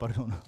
Pardon.